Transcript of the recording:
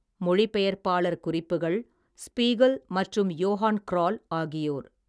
மொழிபெயர்ப்பாளர் குறிப்புகள், ஸ்பீகல், மற்றும் யோஹான் க்ரால் ஆகியோர்.